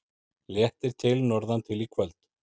Léttir til norðantil í kvöld